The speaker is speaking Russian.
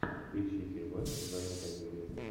поищи фильмас в жанре комедия